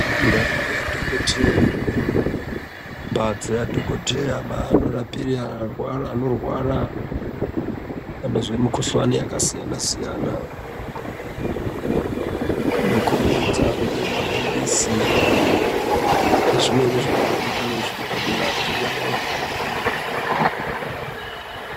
Ndau yadhokoteya mbatso ya dhokoteya ma ano rapire anorwara anozwe mu kuhlani yaka siyana siyana ino kombidza nge mapirisi ne zvimweni zvaka daro daro zviri padera po.